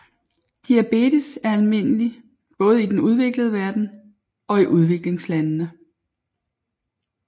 Diabetes er almindelig både i den udviklede verden og i udviklingslandene